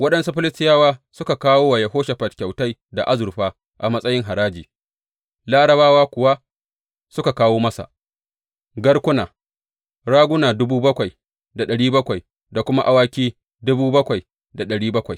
Waɗansu Filistiyawa suka kawo wa Yehoshafat kyautai da azurfa a matsayin haraji, Larabawa kuwa suka kawo masa garkuna, raguna dubu bakwai da ɗari bakwai da kuma awaki dubu bakwai da ɗari bakwai.